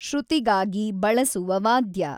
ಶೃತಿಗಾಗಿ ಬಳಸುವ ವಾದ್ಯ.